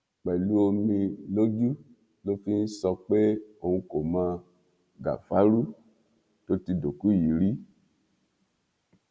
pẹlú omi lójú ló fi ń sọ pé òun kò mọ gàfárú tó ti dòkú yìí rí